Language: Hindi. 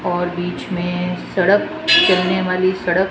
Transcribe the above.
और बीच में सड़क चलने वाली सड़क--